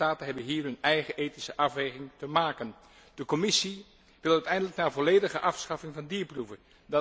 Lidstaten hebben hier hun eigen ethische afweging te maken. De Commissie wil uiteindelijk naar volledige afschaffing van dierproeven.